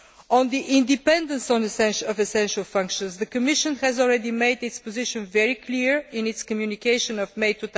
On the independence of essential functions, the Commission has already made its position very clear in its communication of May